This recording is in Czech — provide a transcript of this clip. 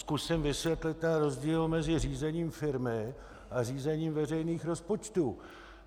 Zkusím vysvětlit ten rozdíl mezi řízením firmy a řízením veřejných rozpočtů.